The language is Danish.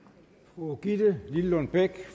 fru gitte lillelund bech